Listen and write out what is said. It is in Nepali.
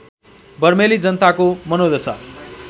बर्मेली जनताको मनोदशा